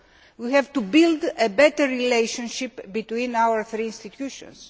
We have to build a better relationship between our three institutions.